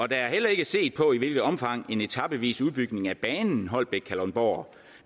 der er heller ikke set på i hvilket omfang en etapevis udbygning af banen holbæk kalundborg